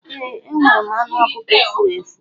Ee, enwere m anụ ọkụkọ furu efu.